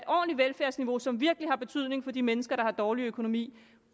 ordentligt velfærdsniveau som virkelig har betydning for de mennesker der har dårlig økonomi